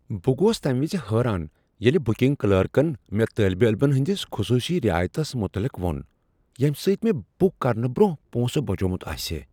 بہٕ گوٚس تمہ وز حیران ییٚلہ بُکِنگ کلرکن مےٚ طالب علمن ہنٛدس خصوصی رعایتس متعلق وو٘ن ییٚمہ سۭتۍ مےٚ بُک کرنہٕ برٛونٛہہ پونسہٕ بچومُت آسِہے ۔